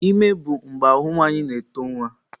Ime bụ mgbe ahụ nwanyị na-eto nwa.